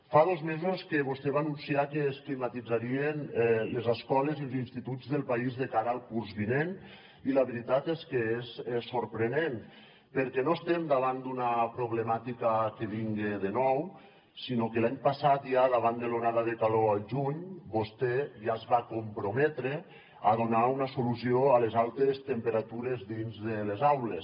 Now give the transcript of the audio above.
fa dos mesos que vostè va anunciar que es climatitzarien les escoles i els instituts del país de cara al curs vinent i la veritat és que és sorprenent perquè no estem davant d’una problemàtica que vinga de nou sinó que l’any passat ja davant de l’onada de calor al juny vostè ja es va comprometre a donar una solució a les altes temperatures dins de les aules